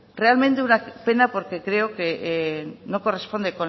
realmente una pena porque creo que no corresponde